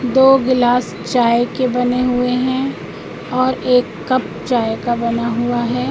दो गिलास चाय के बने हुए हैं और एक कप चाय का बना हुआ है।